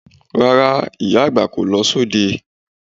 Rárá, ìyá àgbà kò lọ sóde